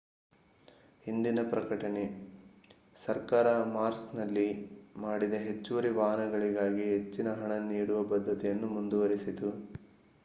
ಇಂದಿನ ಪ್ರಕಟಣೆ ಸರ್ಕಾರ ಮಾರ್ಚ್ನಲ್ಲಿ ಮಾಡಿದ ಹೆಚ್ಚುವರಿ ವಾಹನಗಳಿಗಾಗಿ ಹೆಚ್ಚಿನ ಹಣ ನೀಡುವ ಬದ್ಧತೆಯನ್ನು ಮುಂದುವರೆಸಿತು